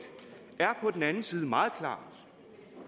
er på den anden side meget klar